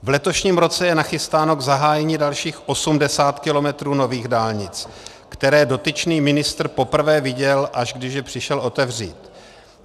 V letošním roce je nachystáno k zahájení dalších 80 km nových dálnic, které dotyčný ministr poprvé viděl, až když je přišel otevřít.